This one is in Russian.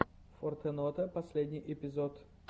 фортенота последний эпизод